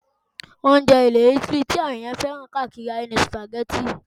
Oúnjẹ ilẹ̀ Italy ti àwọn ènìyàn fẹ́ràn káàkiri ayé ni Spaghetti